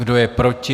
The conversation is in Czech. Kdo je proti?